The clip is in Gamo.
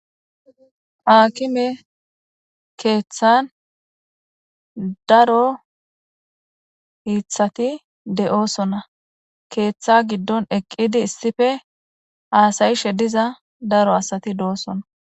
Aakime keeththan daro hittati de'osona. Keeththa giddon eqqidi issippe haasayishe diza daro asati de'osona.